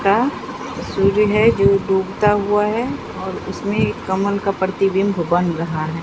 का सूर्य है जो डूबता हुआ है और उसमें एक कमल का प्रतिबिंब बन रहा है।